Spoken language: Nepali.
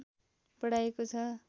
बढाइएको छ